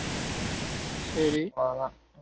சேரி அவளோதான்